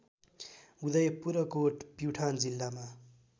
उदयपुरकोट प्युठान जिल्लामा